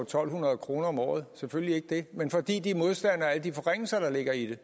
to hundrede kroner om året selvfølgelig ikke det men fordi de er modstandere af alle de forringelser der ligger i det